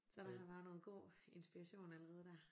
Så der har været noget god inspiration allerede der